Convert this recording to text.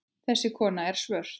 Þessi kona er svört.